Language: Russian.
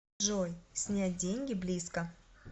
джой снять деньги близко